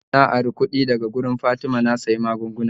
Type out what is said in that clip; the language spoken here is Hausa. Jiya na ari kudi daga wurin fatima na siya maggunguna